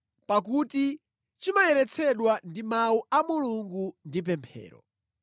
pakuti chimayeretsedwa ndi mawu a Mulungu ndi pemphero.